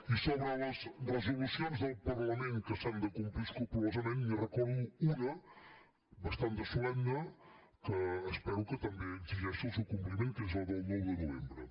i sobre les resolucions del parlament que s’han de complir escrupolosament n’hi recordo una bastant de solemne que espero que també exigeixi el seu compliment que és la del nou de novembre